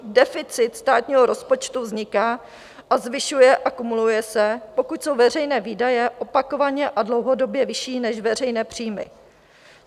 Deficit státního rozpočtu vzniká a zvyšuje a kumuluje se, pokud jsou veřejné výdaje opakovaně a dlouhodobě vyšší než veřejné příjmy.